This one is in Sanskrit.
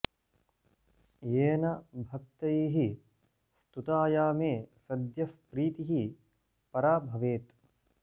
येन भक्तैः स्तुताया मे सद्यः प्रीतिः परा भवेत्